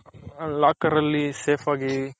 locker ಅಲ್ಲಿ safe ಆಗಿ